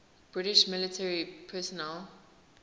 british military personnel